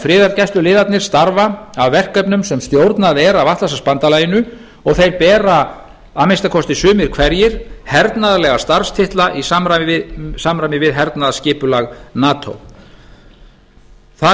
friðargæsluliðarnir starfa að verkefnum sem stjórnað er af atlantshafsbandalaginu og þeir bera að minnsta kosti sumir hverjir hernaðarlega starfstitla í samræmi við hernaðarskipulag nato það